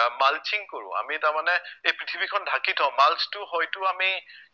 আহ mulching কৰো আমি তাৰমানে এই পৃথিৱীখন ঢাকি থও mulch টো হয়টো আমি